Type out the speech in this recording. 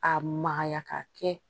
K'a magaya ka kɛ